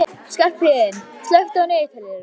Skarphéðinn, slökktu á niðurteljaranum.